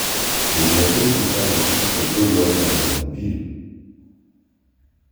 Be onego abed gi parruok ni pe biro lwar e ndara ma Jumapil?